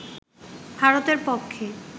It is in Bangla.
ভারতের পক্ষে